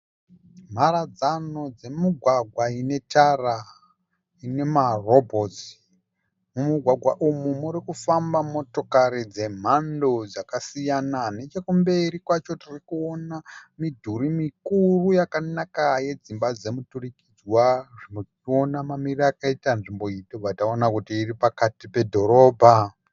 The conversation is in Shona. Mharadzano dzemugwagwa ine tara inema robhotsi, mumugwagwa umu muri kufamba motokari dzemhando dzakasiyana nechekumberi kwacho tiri kuona midhuri mikuru yakanaka yedzimba dzemudurikidzwa tiri kuona mamiriro akaita nzvimbo iyi tobva taziva kuti iri pakati pedhorobha.